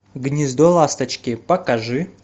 гнездо ласточки покажи